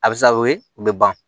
A bɛ se ka o ye u bɛ ban